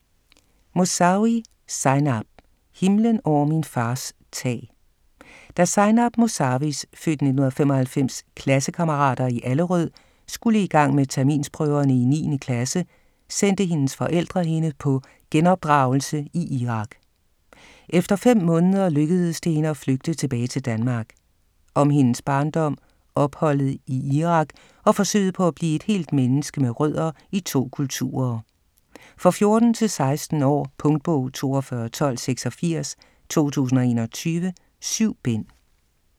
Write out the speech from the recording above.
Mosawi, Zeinab: Himlen over min fars tag Da Zeinab Mosawis (f. 1995) klassekammerater i Allerød skulle igang med terminsprøverne i 9. klasse, sendte hendes forældre hende på genopdragelse i Irak. Efter fem måneder lykkedes det hende at flygte tilbage til Danmark. Om hendes barndom, opholdet i Irak og forsøget på at blive et helt menneske med rødder i to kulturer. For 14-16 år. Punktbog 421286 2021. 7 bind.